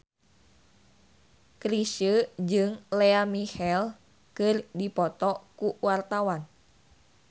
Chrisye jeung Lea Michele keur dipoto ku wartawan